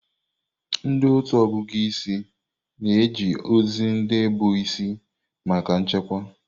Ndị otu ọgụgụ isi na-eji ozi ndị bụ isi maka nchekwa.